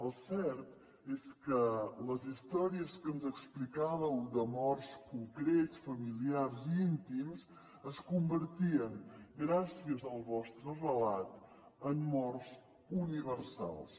el cert és que les històries que ens explicàveu de morts concrets familiars i íntims es convertien gràcies al vostre relat en morts universals